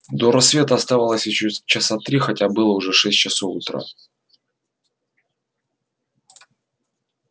до рассвета оставалось ещё часа три хотя было уже шесть часов утра